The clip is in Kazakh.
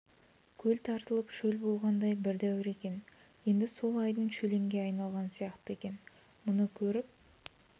көл тартылып шөл болғандай бір дәуір екен енді сол айдын шөлеңге айналған сияқты екен мұны көріп